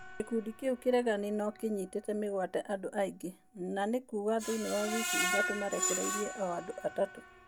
Gĩkundi kiu kĩregani nokĩyitite mĩgwate andu aingi, na nĩkuuga thiini wa wiki ithatu marekereirie o andũ athatũ.